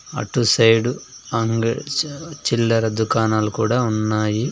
అటు సైడు అంగ్ చా చిల్లర దుకాణాలు కూడా ఉన్నాయి.